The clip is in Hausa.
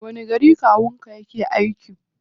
A wani gari kawun ka yake aiki?